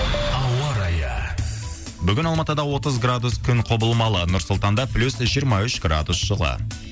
ауа райы бүгін алматыда отыз градус күн құбылмалы нұр сұлтанда плюс жиырма үш градус жылы